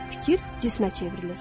Fikir cismə çevrilir.